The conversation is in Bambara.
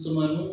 Suma